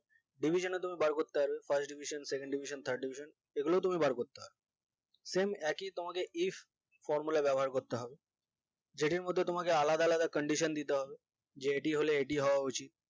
devision তুমি বার করতে পারো first division second division third division এগুলো তুমি বার করতে পারো same একই তোমাকে east formula ব্যবহার করতে হয়ে যেটির মধ্যে তোমাকে আলাদা আলাদা candition দিতে হবে যে এটি হলে এটি হওয়া উচিত